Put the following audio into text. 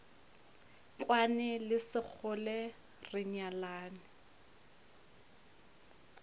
kwane le sekgole re nyalane